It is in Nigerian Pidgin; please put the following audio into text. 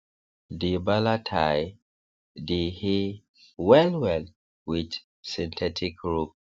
dey baler tie dey hay wellwell with synthetic rope